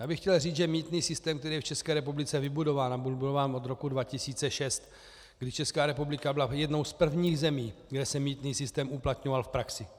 Já bych chtěl říct, že mýtný systém, který je v České republice vybudován a byl budován od roku 2006, kdy Česká republika byla jednou z prvních zemí, kde se mýtný systém uplatňoval v praxi.